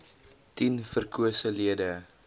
tien verkose lede